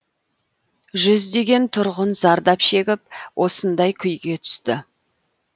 жүздеген тұрғын зардап шегіп осындай күйге түсті